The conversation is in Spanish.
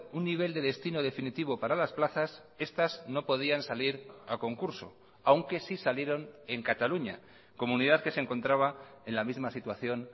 un nivel de destino definitivo para las plazas estas no podían salir a concurso aunque sí salieron en cataluña comunidad que se encontraba en la misma situación